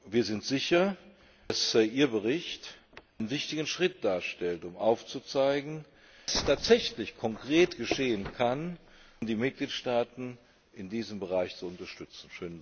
Wir sind sicher, dass Ihr Bericht einen wichtigen Schritt darstellt, um aufzuzeigen, was tatsächlich konkret geschehen kann, um die Mitgliedstaaten in diesem Bereich zu unterstützen.